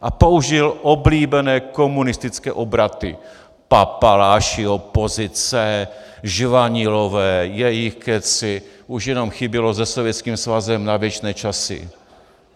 A použil oblíbené komunistické obraty - papaláši, opozice, žvanilové, jejich kecy, už jenom chybělo Se Sovětským svazem na věčné časy.